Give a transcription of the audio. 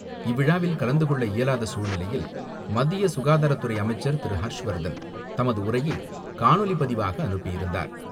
இவ்விழாவில், கலந்துகொள்ள இயலாத சூழ்நிலையில், மத்திய சுகாதாரத்துறை அமைச்சர் திரு ஹர்ஷ்வர்தன், தமது உரையை காணொலி பதிவாக அனுப்பியிருந்தார்.